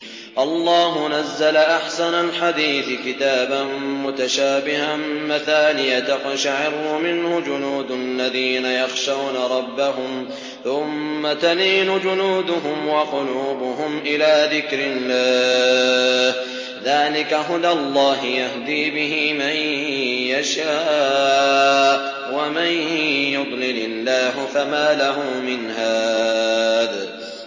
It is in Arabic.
اللَّهُ نَزَّلَ أَحْسَنَ الْحَدِيثِ كِتَابًا مُّتَشَابِهًا مَّثَانِيَ تَقْشَعِرُّ مِنْهُ جُلُودُ الَّذِينَ يَخْشَوْنَ رَبَّهُمْ ثُمَّ تَلِينُ جُلُودُهُمْ وَقُلُوبُهُمْ إِلَىٰ ذِكْرِ اللَّهِ ۚ ذَٰلِكَ هُدَى اللَّهِ يَهْدِي بِهِ مَن يَشَاءُ ۚ وَمَن يُضْلِلِ اللَّهُ فَمَا لَهُ مِنْ هَادٍ